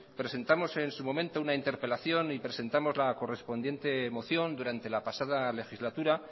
presentamos en su momento una interpelación y presentamos la correspondiente moción durante la pasada legislatura